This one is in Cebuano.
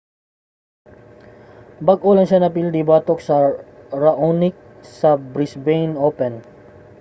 bag-o lang siya napildi batok kang raonic sa brisbane open